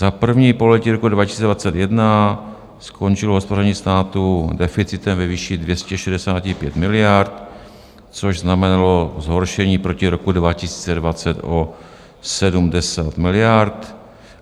Za první pololetí roku 2021 skončilo hospodaření státu deficitem ve výši 265 miliard, což znamenalo zhoršení proti roku 2020 o 70 miliard.